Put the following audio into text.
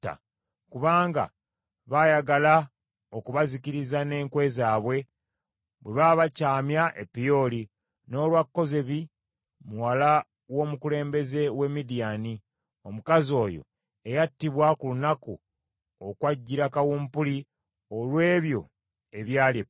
kubanga baayagala okubazikiriza n’enkwe zaabwe bwe baabakyamya e Peoli, n’olwa Kozebi muwala w’omukulembeze w’e Midiyaani, omukazi oyo eyattibwa ku lunaku okwajjira kawumpuli olw’ebyo ebyali e Peoli.”